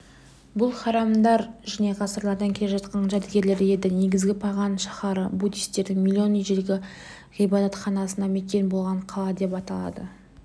бұл храмдар және ғасырлардан келе жатқан жәдігерлер еді негізі паган шаһары буддистердің миллион ежелгі ғибадатханасына мекен болған қала деп аталады